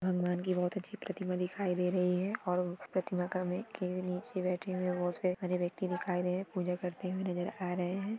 भगवान कि बहुत अच्छी प्रतिमा दिखाई दें रही है और प्रतिमा का मे के नीचे बैठे हुए बहोत से व्यक्ती दिखाई दे पूजा करते हुए नजर आ रहे है।